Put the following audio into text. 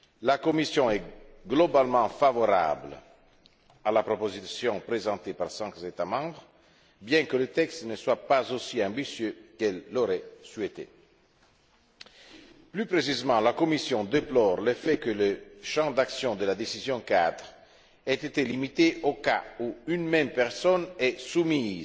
La Commission est globalement favorable à la proposition présentée par cinq États membres, bien que le texte ne soit pas aussi ambitieux qu'elle l'aurait souhaité. Plus précisément, la Commission déplore le fait que le champ d'action de la décision cadre ait été limité au cas où une même personne est soumise